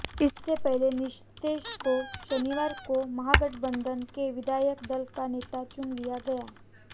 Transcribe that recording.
इससे पहले नीतीश को शनिवार को महागठबंधन के विधायक दल का नेता चुन लिया गया